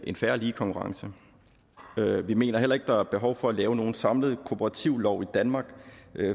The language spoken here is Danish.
en fair og lige konkurrence vi mener heller ikke der er behov for at lave nogen samlet kooperativlov i danmark